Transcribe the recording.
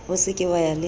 se ke wa ya le